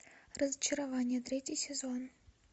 разочарование третий сезон